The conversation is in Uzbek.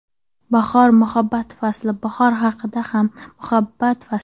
Bahor – muhabbat fasli Bahor haqiqatan ham muhabbat fasli.